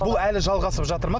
бұл әлі жалғасып жатыр ма